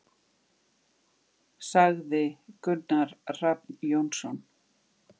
Sagði Gunnar Hrafn Jónsson.